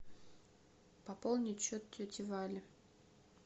пополнить счет тети вали